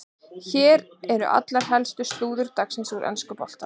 Hér er allt helsta slúður dagsins úr enska boltanum.